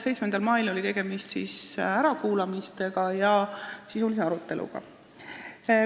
7. mail oli tegemist ärakuulamiste ja sisulise aruteluga.